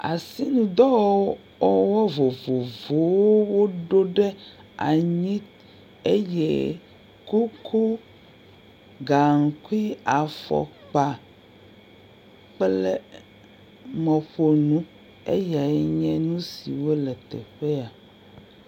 Asidɔwɔwɔwo vovovowo woɖo ɖe anyi eye koko, gaŋkui, afɔkpa kple mɔƒonu eyae nye nu siwo le teƒe ya.